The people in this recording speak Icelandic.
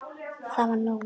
Það var nóg.